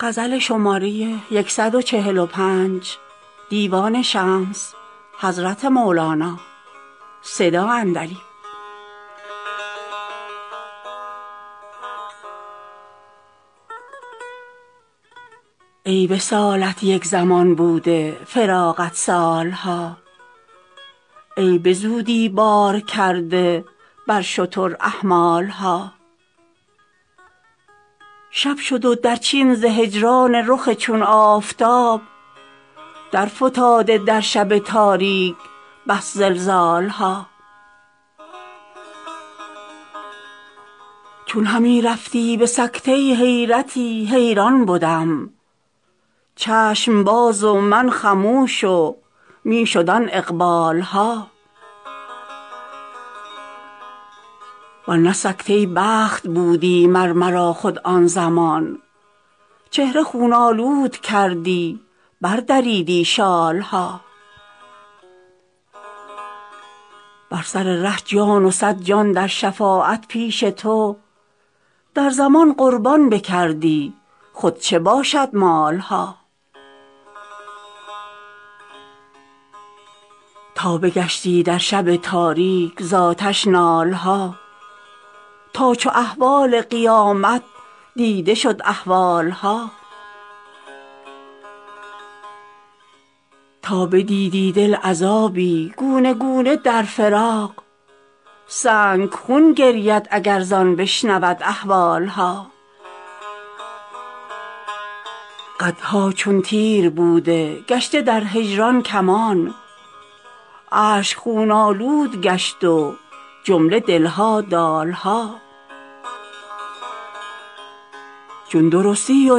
ای وصالت یک زمان بوده فراقت سال ها ای به زودی بار کرده بر شتر احمال ها شب شد و درچین ز هجران رخ چون آفتاب درفتاده در شب تاریک بس زلزال ها چون همی رفتی به سکته حیرتی حیران بدم چشم باز و من خموش و می شد آن اقبال ها ور نه سکته بخت بودی مر مرا خود آن زمان چهره خون آلود کردی بردریدی شال ها بر سر ره جان و صد جان در شفاعت پیش تو در زمان قربان بکردی خود چه باشد مال ها تا بگشتی در شب تاریک ز آتش نال ها تا چو احوال قیامت دیده شد اهوال ها تا بدیدی دل عذابی گونه گونه در فراق سنگ خون گرید اگر زان بشنود احوال ها قدها چون تیر بوده گشته در هجران کمان اشک خون آلود گشت و جمله دل ها دال ها چون درستی و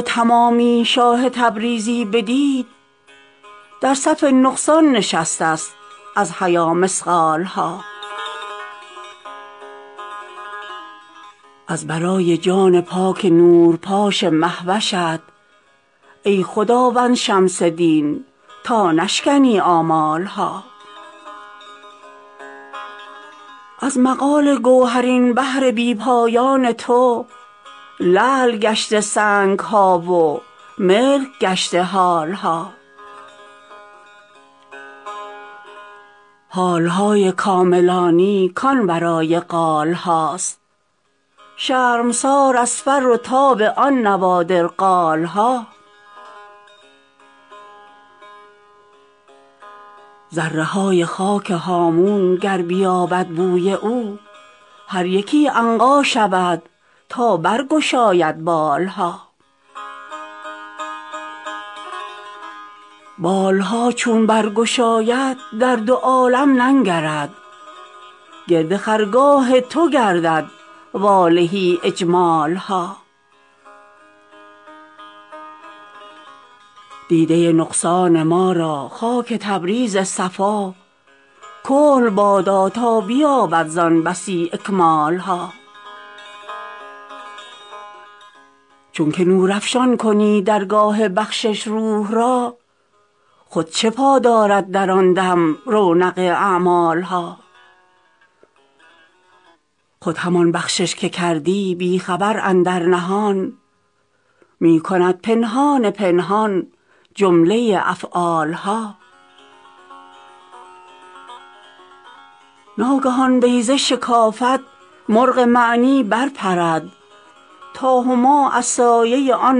تمامی شاه تبریزی بدید در صف نقصان نشست است از حیا مثقال ها از برای جان پاک نورپاش مه وشت ای خداوند شمس دین تا نشکنی آمال ها از مقال گوهرین بحر بی پایان تو لعل گشته سنگ ها و ملک گشته حال ها حال های کاملانی کان ورای قال هاست شرمسار از فر و تاب آن نوادر قال ها ذره های خاک هامون گر بیابد بوی او هر یکی عنقا شود تا برگشاید بال ها بال ها چون برگشاید در دو عالم ننگرد گرد خرگاه تو گردد واله اجمال ها دیده نقصان ما را خاک تبریز صفا کحل بادا تا بیابد زان بسی اکمال ها چونک نورافشان کنی در گاه بخشش روح را خود چه پا دارد در آن دم رونق اعمال ها خود همان بخشش که کردی بی خبر اندر نهان می کند پنهان پنهان جمله افعال ها ناگهان بیضه شکافد مرغ معنی برپرد تا هما از سایه آن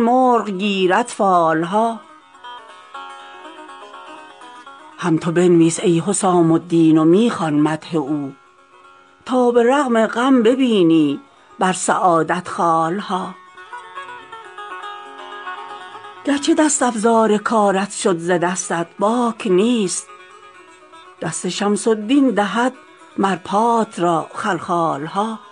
مرغ گیرد فال ها هم تو بنویس ای حسام الدین و می خوان مدح او تا به رغم غم ببینی بر سعادت خال ها گرچه دست افزار کارت شد ز دستت باک نیست دست شمس الدین دهد مر پات را خلخال ها